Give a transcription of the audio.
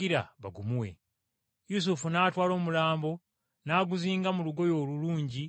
Yusufu n’atwala omulambo n’aguzinga mu lugoye olulungi olwa linena,